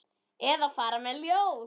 Eða fara með ljóð.